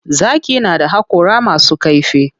Zaki na da haƙora masu kaifi.